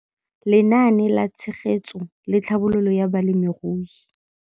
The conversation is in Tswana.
Lenaane la Tshegetso le Tlhabololo ya Balemirui.